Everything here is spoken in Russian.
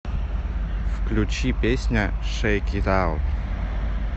включи песня шэйк ит аут